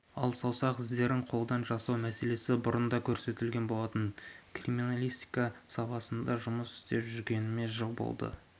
ал саусақ іздерін қолдан жасау мәселесі бұрында көтерілген болатын криминалистика саласында жұмыс істеп жүргеніме жыл болды